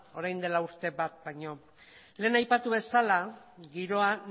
orain dela urtebete baino lehen aipatu bezala giroa